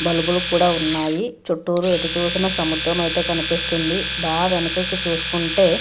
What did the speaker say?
బలుపు కూడా ఉన్నాయి. చుట్టూరు ఎటుచూసిన సముద్రం అయితే కనిపిస్తుంది. బాగా వెనకకు చూసుకుంటే --